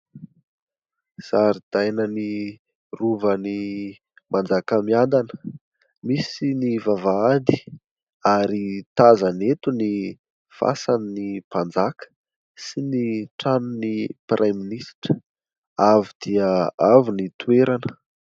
Zaridainan'ny rovan'i Manjakamiadana. Misy ny vavahady ary tazana eto ny fasan'ny Mpanjaka sy ny tranon'ny Praiminisitra. Avo dia avo ny toerana.